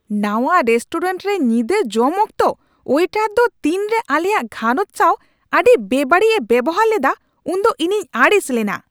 ᱱᱟᱶᱟ ᱨᱮᱥᱴᱳᱨᱮᱱᱴ ᱨᱮ ᱧᱤᱫᱟᱹ ᱡᱚᱢ ᱚᱠᱛᱚ ᱳᱭᱮᱴᱟᱨ ᱫᱚ ᱛᱤᱱᱨᱮ ᱟᱞᱮᱭᱟᱜ ᱜᱷᱟᱨᱚᱸᱡᱽ ᱥᱟᱶ ᱟᱹᱰᱤ ᱵᱮᱵᱟᱹᱲᱤᱡᱼᱮ ᱵᱮᱵᱚᱦᱟᱨ ᱞᱮᱫᱟ ᱩᱱᱫᱚ ᱤᱧᱤᱧ ᱟᱹᱲᱤᱥ ᱞᱮᱱᱟ ᱾